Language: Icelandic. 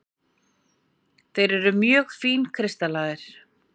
Þeir eru mjög fínkristallaðir.